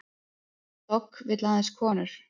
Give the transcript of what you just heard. Dogg vill aðeins konur